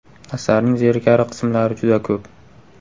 Asarning zerikarli qismlari juda ko‘p.